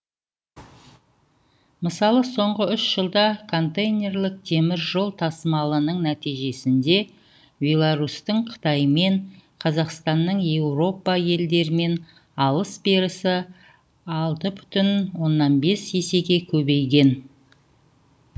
мысалы соңғы үш жылда контейнерлік теміржол тасымалының нәтижесінде беларусьтің қытаймен қазақстанның еуропа елдерімен алыс берісі алты бүтін оннан бес есеге көбейген